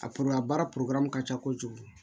A baara ka ca kojugu